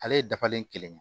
Ale ye dafalen kelen ye